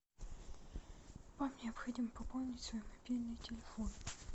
вам необходимо пополнить свой мобильный телефон